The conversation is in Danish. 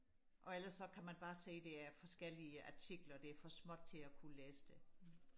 og ellers så kan man bare se det er forskellige artikler det er for småt til og kunne læse det